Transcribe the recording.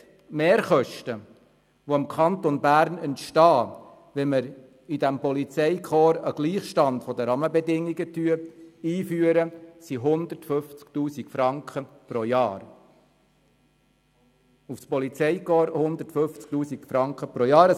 Die Mehrkosten, welche für den Kanton Bern entstehen, wenn im Polizeikorps ein Gleichstand der Rahmenbedingungen eingeführt wird, entsprechen 150 000 Franken pro Jahr.